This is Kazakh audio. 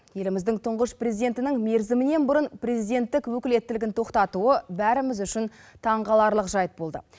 еліміздің тұңғыш президентінің мерзімінен бұрын президенттік өкілеттілігін тоқтатуы бәріміз үшін таңқаларлық жайт болды